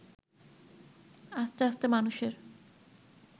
আস্তে আস্তে মানুষের